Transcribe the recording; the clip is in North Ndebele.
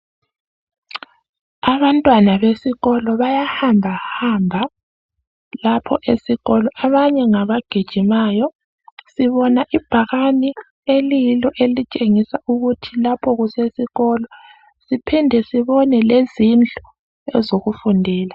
Abantwana besikolo bayahambahamba lapho esikolo abanye ngabagijimayo, sibona ibhakani eliyilo elitshengisa ukuthi lapho kusesekolo. Siphinde sibone lezindlu ezokufundela.